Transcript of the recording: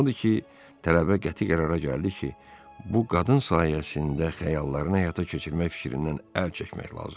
Odur ki, tələbə qəti qərara gəldi ki, bu qadın sayəsində xəyallarını həyata keçirmək fikrindən əl çəkmək lazımdır.